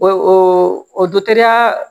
O o ya